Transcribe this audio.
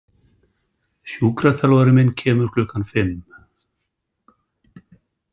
Sjúkraþjálfarinn minn kemur klukkan fimm.